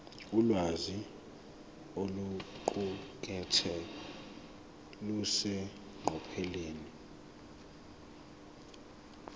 ulwazi oluqukethwe luseqophelweni